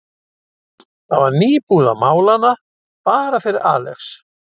Það var nýbúið að mála hana, bara fyrir Alex.